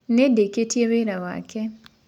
Ĩĩ nĩndĩkĩtĩe wĩra wakwa